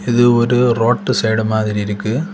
இது ஒரு road side மாதிரி இருக்கு.